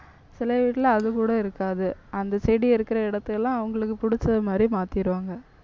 சில வீட்ல அதுகூட இருக்காது. அந்த செடி இருக்கிற இடத்தை எல்லாம் அவங்களுக்கு பிடிச்சது மாதிரி மாத்திருவாங்க.